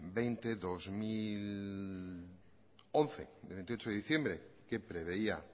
veinte barra dos mil once de veintiocho de diciembre que preveía